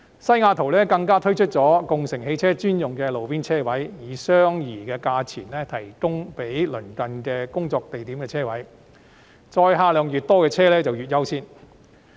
西雅圖更推出共乘汽車專用的路邊停車位，以相宜價錢供鄰近工作地點的人士使用，載客量越多的車輛越優先。